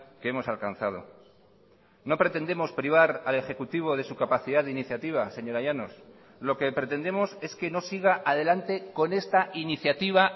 que hemos alcanzado no pretendemos privar al ejecutivo de su capacidad de iniciativa señora llanos lo que pretendemos es que no siga adelante con esta iniciativa